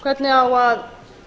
hvernig á að